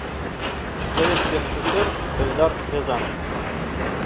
советский режиссер эльдар рязанов